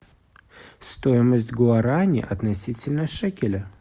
стоимость гуарани относительно шекеля